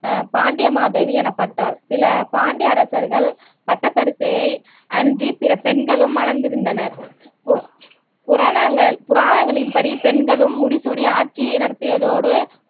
ஆஹ் பாண்டியமாதேவி எனப்பட்டார் சில பாண்டிய அரசர்கள் பட்டத்தரிசியை அன்றி பிற பெண்களும் மணந்திருந்தனர் பு புராணங்கள் புராணங்களின் படி பெண்களும் முடிசூடி ஆட்சியை நடத்தியதோடு